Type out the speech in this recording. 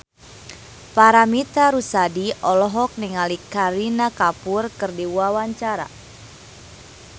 Paramitha Rusady olohok ningali Kareena Kapoor keur diwawancara